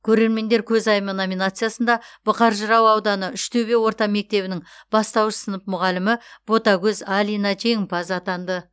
көрермендер көзайымы номинациясында бұқар жырау ауданы үштөбе орта мектебінің бастауыш сынып мұғалімі ботагөз алина жеңімпаз атанды